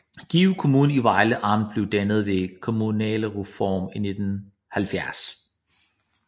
Give Kommune i Vejle Amt blev dannet ved kommunalreformen i 1970